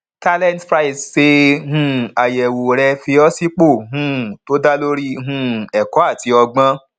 talentprise ṣe um àyẹwò rẹ fi ọ sípò um tó dá lórí um ẹkó àti ọgbọn